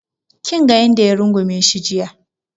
Kinga yanda ya rungume shi jiya